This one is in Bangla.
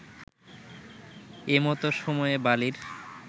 এমতো সময়ে বালীর